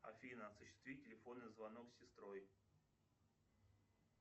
афина осуществи телефонный звонок с сестрой